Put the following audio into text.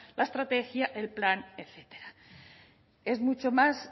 la estrategia el plan etcétera es mucho más